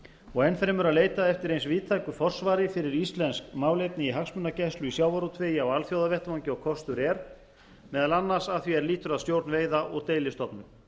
og enn fremur að leita eftir eins víðtæku forsvari fyrir íslensk málefni í hagsmunagæslu í sjávarútvegi á alþjóðavettvangi og kostur er meðal annars að því er lýtur að stjórn veiða og deilistofna